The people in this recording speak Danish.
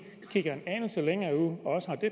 kigger en anelse længere ud